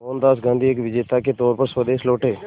मोहनदास गांधी एक विजेता के तौर पर स्वदेश लौटे